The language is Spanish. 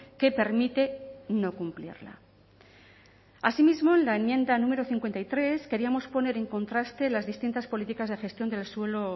que permite no cumplirla así mismo en la enmienda número cincuenta y tres queríamos poner en contraste las distintas políticas de gestión del suelo